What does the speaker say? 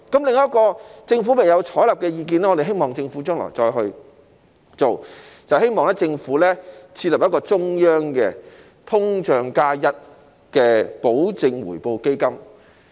另一項政府未有採納的意見，我們希望政府將來會推行，就是我們希望政府設立中央的"通脹加 1%" 的保證回報基金。